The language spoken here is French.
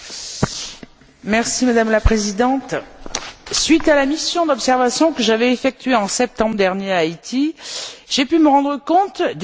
Madame la Présidente, suite à la mission d'observation que j'avais effectuée, en septembre dernier, en Haïti, j'ai pu me rendre compte des urgences à traiter.